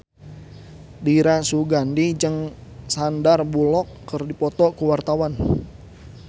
Dira Sugandi jeung Sandar Bullock keur dipoto ku wartawan